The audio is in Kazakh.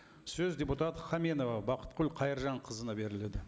сөз депутат хаменова бақытгүл қайыржанқызына беріледі